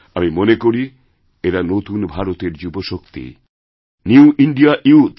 আমি মনে করি এরা নতুন ভারতের যুবশক্তি নিউ ইন্দিয়া ইউথ